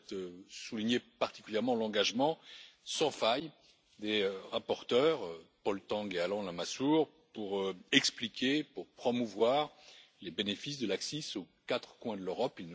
Je souhaite souligner particulièrement l'engagement sans faille des rapporteurs Paul Tang et Alain Lamassoure pour expliquer, pour promouvoir les bénéfices de l'ACCIS aux quatre coins de l'Europe.